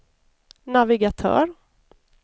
navigatör